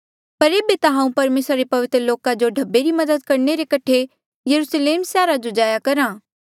पर एेबे ता हांऊँ परमेसरा रे पवित्र लोका जो ढब्बे री मदद करणे रे कठे यरुस्लेम सैहरा जो जाया करहा